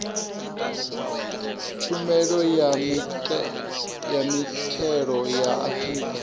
tshumelo ya mithelo ya afrika